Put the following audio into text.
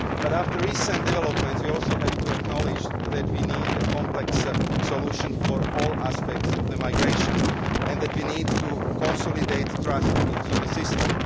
After recent developments, we also have to acknowledge that we need a complex solution for all aspects of migration and that we need to consolidate trust in the system.